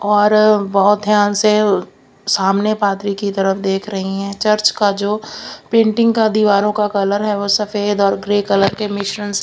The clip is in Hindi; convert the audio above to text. और बोहत ध्यान से सामने फादरी की तरफ देख रही है चर्च का जो पेंटिंग का दीवारों का कलर है वो सफेद और ग्रे कलर के मिश्रण से--